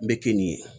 N bɛ kinni ye